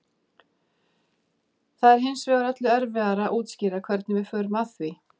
það er hins vegar öllu erfiðara að útskýra hvernig við förum að því